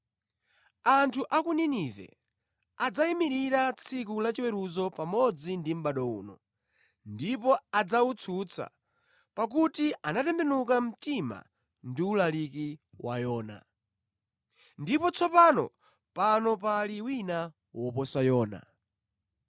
Anthu a ku Ninive adzayimirira tsiku lachiweruzo pamodzi ndi mʼbado uno ndipo adzawutsutsa, pakuti anatembenuka mtima ndi ulaliki wa Yona. Ndipo tsopano pano pali wina woposa Yona.